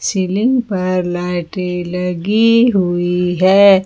Ceiling पर लाइटे लगी हुई हैं।